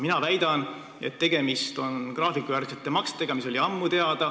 Mina väidan, et tegemist on graafikujärgsete maksetega, mis olid ammu teada.